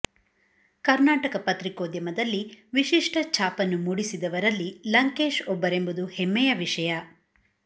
ಕರ್ನಾಟಕ ಪತ್ರಿಕೋದ್ಯಮದಲ್ಲಿ ವಿಶಿಷ್ಟ ಛಾಪನ್ನು ಮೂಡಿಸಿದವರಲ್ಲಿ ಲಂಕೇಶ್ ಒಬ್ಬರೆಂಬುದು ಹೆಮ್ಮೆಯ ವಿಷಯ